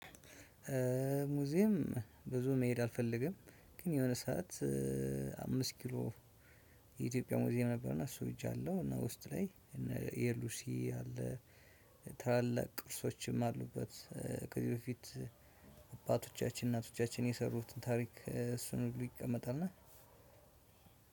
ሙዚየም ብዙ መሄድ አልፈልግም ግን የሆነ ሰዓት አምስት ኪሎ የኢትዮጵያ ሙዚየም ነበርና እሱ ሄጃለው። እና ውስጥ ላይ እነ የሉሲ አለ ታላላቅ ቅርሶችም አሉበት። ከዚህ በፊት አባቶቻችን እናቶቻችን የሰሩትን ታሪክ እሱን ሁሉ ይቀመጣል እና